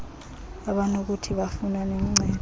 abanokuthi bafumane uncedo